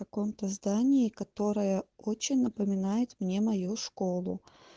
в каком то здании которое очень напоминает мне мою школу